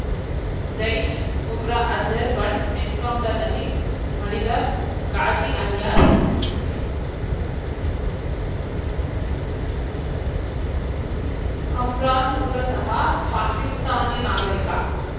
ಜೈಷ್‌ ಉಗ್ರ ಅಜರ್‌ ಬಂಟ ಎನ್‌ಕೌಂಟರ್‌ನಲ್ಲಿ ಮಡಿದ ಗಾಜಿ ಅಲಿಯಾಸ್‌ ಕಮ್ರಾನ್‌ ಮೂಲತಃ ಪಾಕಿಸ್ತಾನಿ ನಾಗರಿಕ